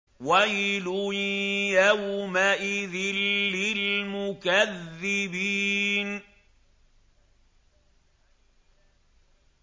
وَيْلٌ يَوْمَئِذٍ لِّلْمُكَذِّبِينَ